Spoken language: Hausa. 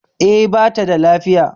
E, bata da lafiya